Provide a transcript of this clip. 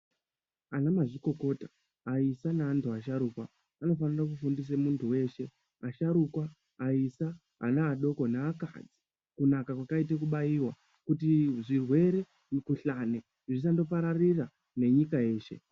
Anamazvikokota aisa neandu asharuka anofana kufundisa mundu weshe asharukwa aisa anaadoko neakani kunaka kwakaita kubaiwa kuti zvirwere mukuhlani zvisangopararira nenyika yese.